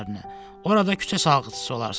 Orada küçə salğıçısı olarsan.